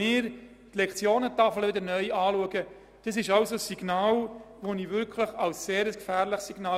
Die nächste Spardebatte wird ja kaum erst in 20 Jahren stattfinden.